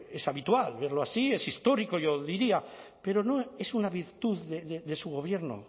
es habitual verlo así es histórico yo diría pero no es una virtud de su gobierno